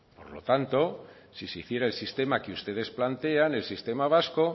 por lo tanto si se hiciera el sistema que ustedes plantean el sistema vasco